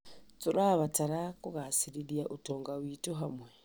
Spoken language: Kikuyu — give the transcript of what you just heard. Tũrabatara kũgcĩrithia ũtonga witũ hamwe.